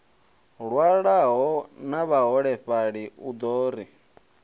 lwalaho na vhaholefhali u ri